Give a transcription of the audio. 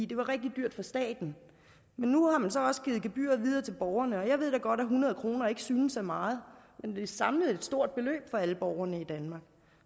det var rigtig dyrt for staten men nu har man så også givet gebyret videre til borgerne og jeg ved da godt at hundrede kroner ikke synes af meget men samlet er det et stort beløb for alle borgerne i danmark